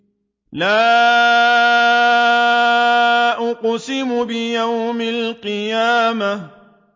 لَا أُقْسِمُ بِيَوْمِ الْقِيَامَةِ